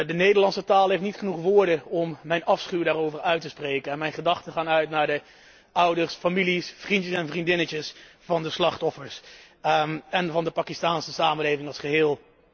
De Nederlandse taal heeft niet genoeg woorden om mijn afschuw daarover uit te spreken en mijn gedachten gaan uit naar de ouders, families, vriendjes en vriendinnetjes van de slachtoffers en van de Pakistaanse samenleving als geheel.